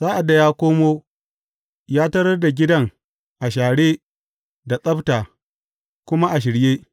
Sa’ad da ya koma, ya tarar da gidan a share da tsabta, kuma a shirye.